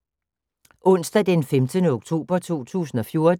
Onsdag d. 15. oktober 2014